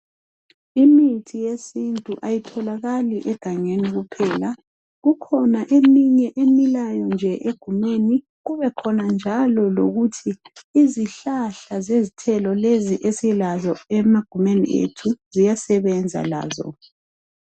Imithi yesintu kayitholakali egangeni kuphela kukhona eminye emilayo egumeni kubekhona njalo lokuthi izihlahla zezithelo lezi esilazo emagumeni ethu ziyasebenza lazo.